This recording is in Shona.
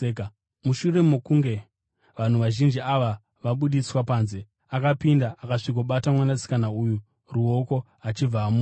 Mushure mokunge vanhu vazhinji ava vabudiswa panze, akapinda akasvikobata mwanasikana uya ruoko achibva amuka.